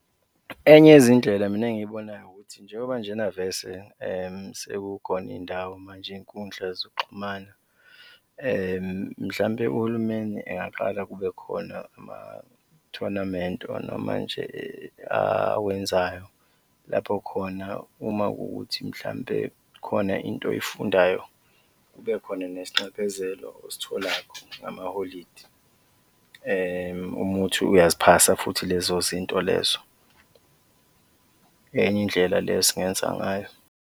Enye yezindlela mina engiyibonayo ukuthi njengoba nje na vese sekukhona iy'ndawo manje, iy'nkundla zokuxhumana, mhlawumbe uhulumeni engaqala kube khona ama-tournament or noma nje awenzayo lapho khona uma kuwukuthi mhlawumbe khona into oyifundayo, kubekhona nesinxephezelo ositholakho ngamaholidi, uma kuwukuthi uyaziphasa futhi lezo zinto lezo, enye indlela le esingenza ngayo.